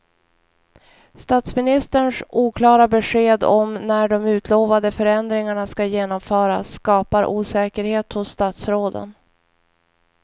Statsministerns oklara besked om när de utlovade förändringarna ska genomföras skapar osäkerhet hos statsråden.